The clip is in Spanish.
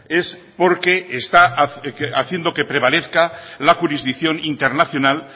es porque está haciendo que prevalezca la jurisdicción internacional